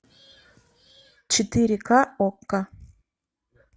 четыре ка окко